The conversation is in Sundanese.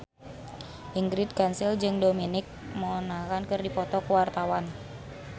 Ingrid Kansil jeung Dominic Monaghan keur dipoto ku wartawan